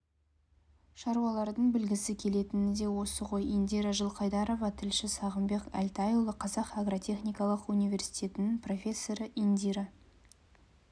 шаруалардың білгісі келетіні де осы ғой индира жылқайдарова тілші сағымбек әлтайұлы қазақ агротехникалық университетінің профессоры индира